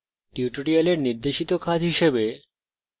এই tutorial নির্দেশিত কাজ হিসাবে